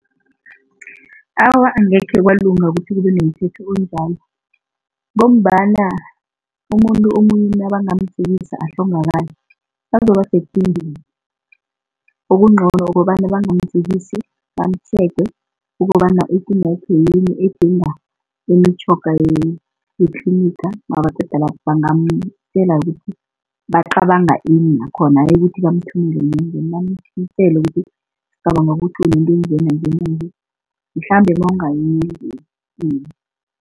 Awa, angekhe kwalunga ukuthi kubenomthetho onjalo, ngombana umuntu omunye nabangamjikisa ahlongakale bazoba sekingeni. Okungcono ukobana bangamjikisi bamu-checker ukobana ikinga yakhe yini, edinga imitjhoga yetliniga nabaqeda lapho bangamtjela kuthi bacabanga ini nakhona hayi ukuthi bamthumele enyangeni ukuthi sicabanga ukuthi unento enjenanje mhlambe nawungaya eenyangeni.